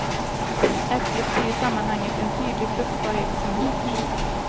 Äpplet blir i sammanhanget en tydlig fruktbarhetssymbol.